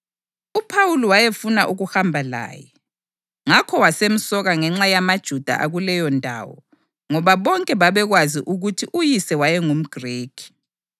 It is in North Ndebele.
UPhawuli wayefuna ukuhamba laye, ngakho wasemsoka ngenxa yamaJuda akuleyondawo ngoba bonke babekwazi ukuthi uyise wayengumGrikhi.